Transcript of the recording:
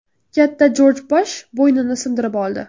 Katta Jorj Bush bo‘ynini sindirib oldi.